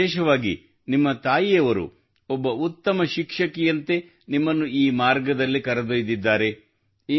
ಮತ್ತು ವಿಶೇಷವಾಗಿ ನಿಮ್ಮ ತಾಯಿಯವರು ಒಬ್ಬ ಉತ್ತಮ ಶಿಕ್ಷಕಿಯಂತೆ ನಿಮ್ಮನ್ನು ಈ ಮಾರ್ಗದಲ್ಲಿ ಕರೆದೊಯ್ದಿದ್ದಾರೆ